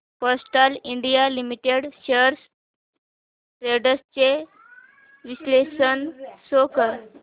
Castrol India limited shares trends चे विश्लेषण show कर